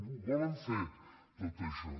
ho volen fer tot això